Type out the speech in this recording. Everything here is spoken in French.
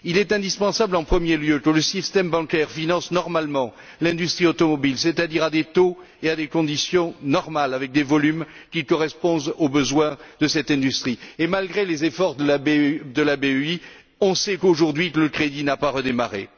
Il est indispensable, en premier lieu, que le système bancaire finance normalement l'industrie automobile, c'est à dire à des taux et à des conditions normaux, et avec des volumes qui correspondent aux besoins de cette industrie. Et, malgré les efforts de la BEI, on sait qu'aujourd'hui le crédit n'a pas redémarré.